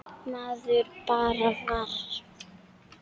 Maður bara varð